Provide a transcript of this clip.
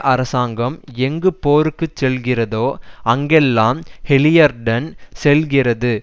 அரசாங்கம் எங்கு போருக்கு செல்கிறதோ அங்கெல்லாம் ஹாலிபர்டன் செல்கிறது